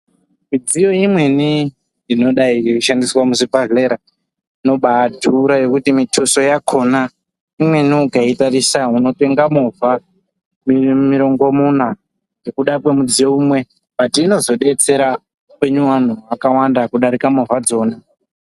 Midziyo imweni inodai yeishandiswa muzvibhadhlera inobaa dhura zvekuti muthuso wakona imweni ukaitarisa unotenga movha mirongomonya nekuda kwemudziyo umwe bhati unozobetsera vantu vakawanda kudarika movha idzona.